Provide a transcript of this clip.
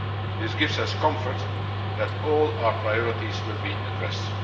This gives us comfort that all our priorities will be addressed.